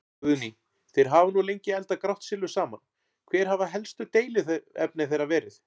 Guðný: Þeir hafa nú lengi eldað grátt silfur saman, hver hafa helstu deiluefni þeirra verið?